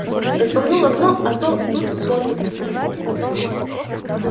распахнул окно а то тут воздух скис